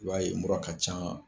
I b'a mura ka can